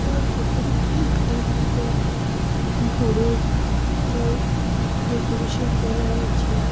তার ভেতরে খুব সুন্দর করে তার ডেকোরেশন করা আছে।